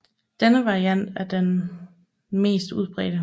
Denne variant er den mest udbredte